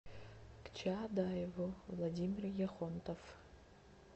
к чаадаеву владимир яхонтов